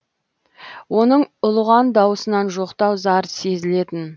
оның ұлыған дауысынан жоқтау зар сезілетін